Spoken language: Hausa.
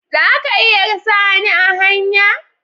Za ka iya ka sa ni a hanya?